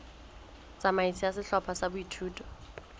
tsamaiso ya sehlopha sa boithuto